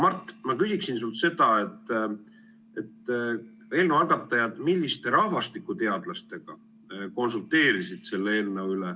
Mart, ma küsiksin sinult seda, et milliste rahvastikuteadlastega eelnõu algatajad konsulteerisid selle eelnõu üle.